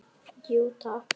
Jú, takk.